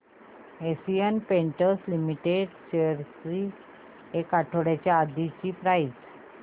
Asian Paints Limited shares ची एक आठवड्या आधीची प्राइस